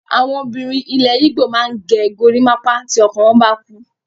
Àwọn obìnrin ilẹ̀ Igbo máa ń ge gorímápá tí ọkọ wọ́n bá kú.